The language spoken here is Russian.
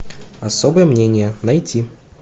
особое мнение найти